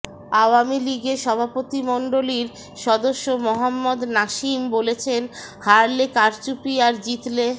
আওয়ামী লীগের সভাপতিমণ্ডলীর সদস্য মোহাম্মদ নাসিম বলেছেন হারলে কারচুপি আর জিতলে